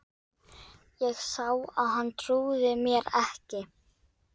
Ég sá að hann trúði mér ekki.